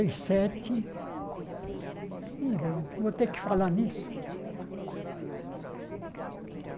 E sete... Ih, vou ter que falar nisso.